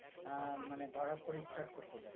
আহ মানে ধরাত করে start করতে যাই